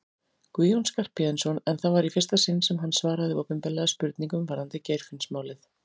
Guðjón Skarphéðinsson en það var í fyrsta sinn sem hann svaraði opinberlega spurningum varðandi Geirfinnsmálið.